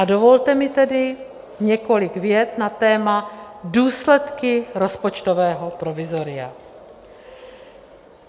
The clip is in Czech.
A dovolte mi tedy několik vět na téma důsledky rozpočtového provizoria.